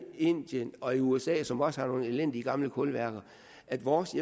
indien og usa som også har nogle elendige gamle kulværker at vores